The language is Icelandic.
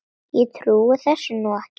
Ég trúi þessu nú ekki!